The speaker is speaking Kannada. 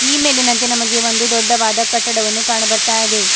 ಈ ಮೇಲಿನಂತೆ ನಮಗೆ ಒಂದು ದೊಡ್ಡವಾದ ಕಟ್ಟಡವನ್ನು ಕಾಣಬರ್ತಾ ಇದೆ.